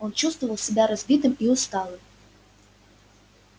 он чувствовал себя разбитым и усталым